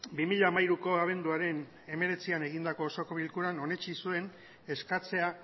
bi mila hamairuko abenduaren hemeretzian egindako osoko bilkuran onetsi zuen eskatzea